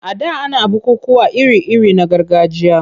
A da ana bukukkuwa iri-iri na gargajiya.